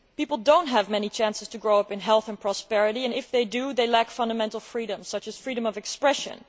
People do not have many chances to grow up in health and prosperity, and if they do they lack fundamental freedoms such as freedom of expression.